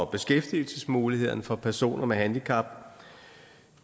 beskæftigelsesmulighederne for personer med handicap